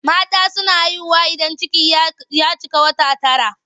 Mata suna haihuwa idan ciki ya cika wata tara.